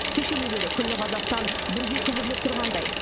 кешелі бері күллі қазақстан бірге күбірлеп тұрғандай